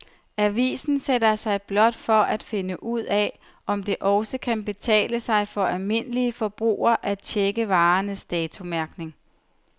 Avisen sætter sig blot for at finde ud af, om det også kan betale sig for den almindelige forbruger at checke varernes datomærkning.